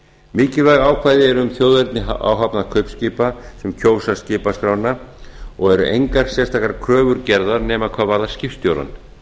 mikilvæg ákvæði eru um þjóðerni áhafnar kaupskipa sem kjósa skipaskrána og eru engar sérstakar kröfur gerðar nema hvað varðar skipstjórann